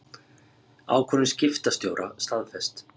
Ákvörðun skiptastjóra staðfest